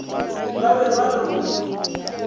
ba be ba re go